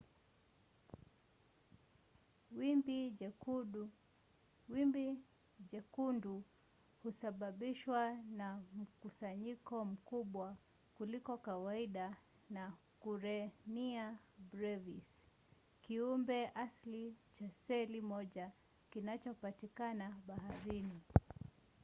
wimbi jekundu husababishwa na mkusanyiko mkubwa kuliko kawaida wa karenia brevis kiumbe asilia cha seli moja kinachopatikana baharini